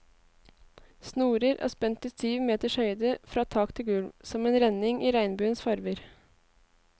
Snorer er spent i syv meters høyde, fra tak til gulv, som en renning i regnbuens farver.